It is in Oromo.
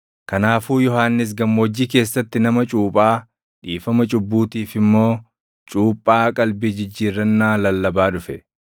Kanaafuu Yohannis gammoojjii keessatti nama cuuphaa, dhiifama cubbuutiif immoo cuuphaa qalbii jijjiirrannaa lallabaa dhufe.